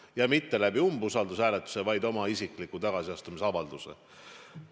Ja mitte läbi umbusaldushääletuse, vaid oma isikliku tagasiastumisavalduse.